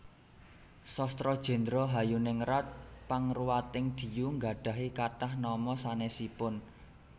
Sastra Jéndra Hayuningrat Pangruwating Diyu nggadhahi kathah nama sanèsipun